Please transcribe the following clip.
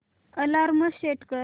alarm set कर